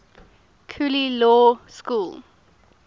cooley law school